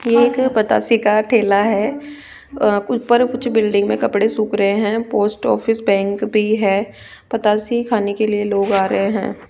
ये एक बताशी का ठेला है अ ऊपर कुछ बिल्डिंग में कपड़े सुख रहे हैं पोस्ट ऑफिस बैंक भी है बताशी खाने के लिए लोग आ रहे हैं।